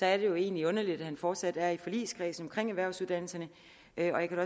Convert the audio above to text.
er det jo egentlig underligt at han fortsat er i forligskredsen erhvervsuddannelserne jeg kan